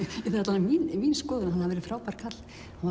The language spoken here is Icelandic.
það er mín mín skoðun að hann hafi verið frábær karl